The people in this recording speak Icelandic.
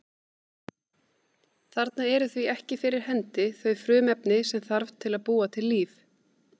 Þarna eru því ekki fyrir hendi þau frumefni sem þarf til að búa til líf.